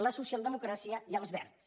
la socialdemocràcia i els verds